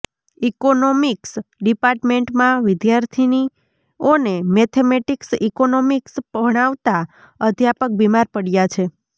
economics ડિપાર્ટમેન્ટમાં વિદ્યાર્થિની ઓને મેથેમેટિક્સ ઈકોનોમિક્સ ભણાવતા અધ્યાપક બીમાર પડયા છે